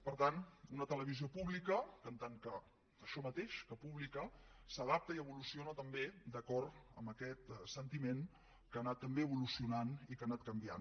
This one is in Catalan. per tant una televisió pública que en tant que això mateix que pública s’adapta i evoluciona també d’acord amb aquest sentiment que ha anat també evolucionant i que ha anat canviant